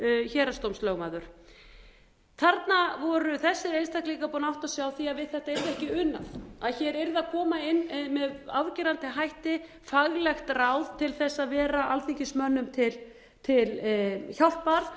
héraðsdómslögmaður þarna voru þessir einstaklingar búnir að átta sig á því að við þetta yrði ekki unað að hér yrði að koma inn með afgerandi hætti faglegt ráð til þess að vera alþingismönnum til hjálpar